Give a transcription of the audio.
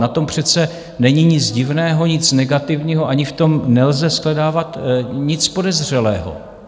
Na tom přece není nic divného, nic negativního, ani v tom nelze shledávat nic podezřelého.